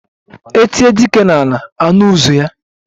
E tie dike n'ala, anụ ụzụ ya